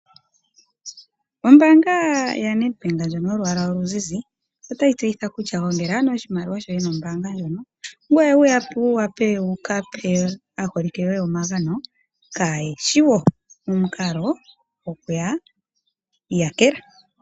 Ombaanga yaNedbank ndjono yolwaala oluzizi otayi tseyitha kutya gongela oshimaliwa shoye nombaanga ndjono, ngoye wu wape wu ka pe aaholike yoye omagano kaaye shi wo momukalo gokuya yakela.